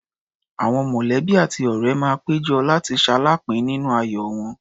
Àwọn mọ̀lẹ́bí àti ọ̀ré máa pé jọ, láti ṣaláàápín nínú ayọ̀ wọn.